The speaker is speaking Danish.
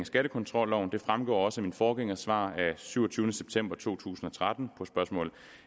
skattekontrolloven det fremgår også af min forgængers svar af syvogtyvende september to tusind og tretten på spørgsmål